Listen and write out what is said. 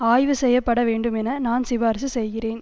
ஆய்வு செய்ய பட வேண்டும் என நான் சிபார்சு செய்கிறேன்